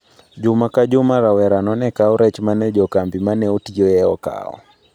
Juma ka juma rawerano ne kawo rech ma ne jo kambi ma ne otiyoe okawo.